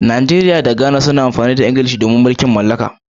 Nigeria da Ghana duk suna amfani da harshen Iglishi ne dalilin mulkin mallaka.